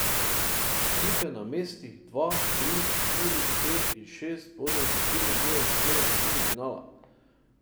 Ekipe na mestih dva, tri, štiri, pet in šest bodo izločilne boje začele v osmini finala.